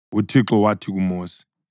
UThixo wathi kuMosi: